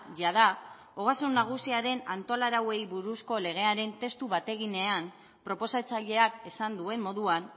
jada ogasun nagusiaren antolarauei buruzko legearen testu bateginean proposatzaileak esan duen moduan